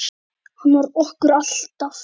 Hann vann okkur alltaf.